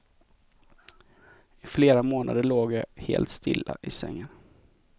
I flera månader låg jag helt stilla i sängen.